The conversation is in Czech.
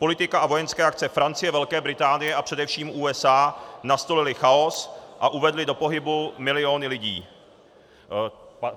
Politika a vojenské akce Francie, Velké Británie a především USA nastolily chaos a uvedly do pohybu miliony lidí.